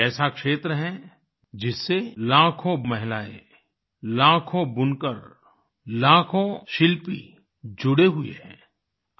ये ऐसा क्षेत्र है जिससे लाखों महिलाएं लाखों बुनकर लाखों शिल्पी जुड़े हुए हैं